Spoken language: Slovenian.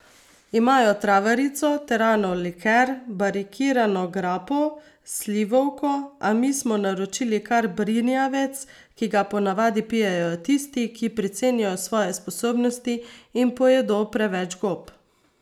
Imajo travarico, teranov liker, barikirano grappo, slivovko, a mi smo naročili kar brinjevec, ki ga ponavadi pijejo tisti, ki precenijo svoje sposobnosti in pojedo preveč gob.